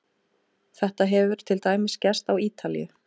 Þetta hefur til dæmis gerst á Ítalíu.